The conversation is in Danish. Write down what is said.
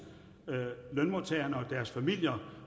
lønmodtagerne og deres familier